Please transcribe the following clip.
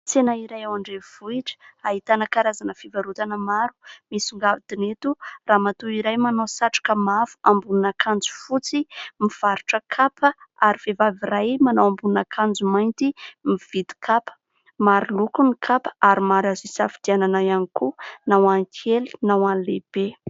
Tsena iray ao andrenivohitra, ahitana karazana fivarotana maro. Misongadina eto ramatoa iray manao satroka mavo, ambonin'akanjo fotsy mivarotra kapa, ary vehivavy iray manao ambanin'akanjo mainty mividy kapa. Maro loko ny kapa ary maro aza isafidianana ihany koa na ho an'ny kely na ho an'ny lehibe.